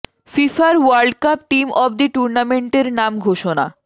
ফিফার world cup team of the টুর্নামেন্টের নাম ঘোষনা